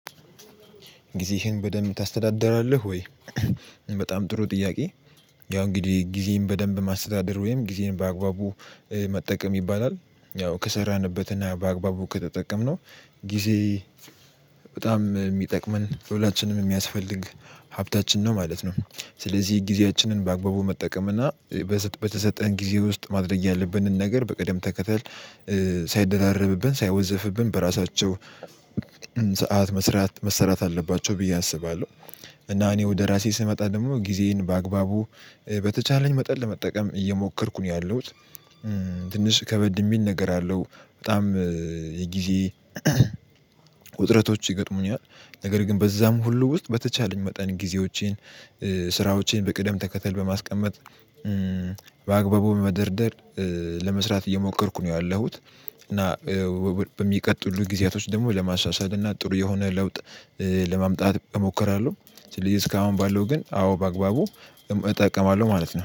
ጊዜህን በደንብ ታስተዳድራለህ ወይ? በጣም ጥሩ ጥያቄ፤ ያው እንግዲህ ጊዜህን በደንብ ማስተዳደር ወይም ጊዜን በአግባቡ መጠቀም ይባላል። ያው ከሰራንበትና በአግባቡ ከተጠቀምነው ጊዜ በጣም የሚጠቅመን ለሁላችንም የሚያስፈልግ ሀብታችን ነው ማለት ነው። ስለዚህ ጊዜያችንን በአግባቡ መጠቀም እና በተሰጠን ጊዜ ውስጥ ማድረግ ያለብንን ነገር በቀደም ተከተል ሳይደራረብብን ሳይወዘፍብን በራሳቸው ሰዓት መስራት መሰራት አለባቸው ብዬ አስባለሁ። እና እኔ ወደ ራሴ ስመጣ ደግሞ ጊዜዬን በአግባቡ በተቻለኝ መጠን ለመጠቀም እየሞከርኩ ነው ያለሁት። ትንሽ ከበድ የሚል ነገር አለው። በጣም የጊዜ ውጥረቶች ይገጥሙኛል። ነገር ግን በዛም ሁሉ ውስጥ በተቻለኝ መጠን ጊዜዎቼን ስራዎቼን በቅደም ተከተል በማስቀመጥ በአግባቡ በመደርደር ለመስራት እየሞከርኩ ነው ያለሁት እና በሚቀጥሉ ጊዜያቶች ደግሞ ለማሻሻል እና ጥሩ የሆነ ለውጥ ለማምጣት እሞክራለሁ። ስለዚህ እስካሁን ባለው ግን አዎ በአግባቡ እጠቀማለሁ ማለት ነው።